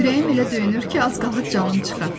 Ürəyim elə döyünür ki, az qalır canım çıxa.